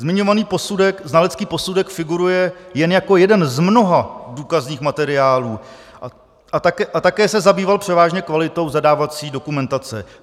Zmiňovaný znalecký posudek figuruje jen jako jeden z mnoha důkazních materiálů a také se zabýval převážně kvalitou zadávací dokumentace.